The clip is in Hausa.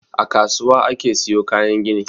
A kasuwa ake siyo kayan gini.